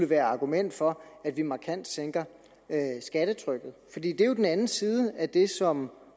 være argument for at vi markant sænker skattetrykket for det er jo den anden side af det som